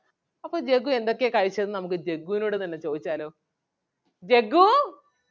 അപ്പം ജഗ്ഗു എന്തൊക്കെയാ കഴിച്ചതെന്ന് നമുക്ക് ജഗ്ഗുവിനോട് തന്നെ ചോദിച്ചാലോ ജഗ്‌ഗൂ